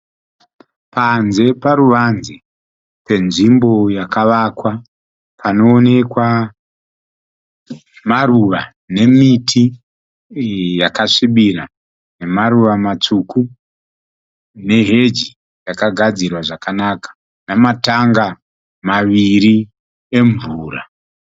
Panze paruvanze penzvimbo yakavakwa panoonekwa maruva nemiti yakasvibira nemaruva matsvuku neheji yakagadzirwa zvakanaka nama tanga maviri emvura.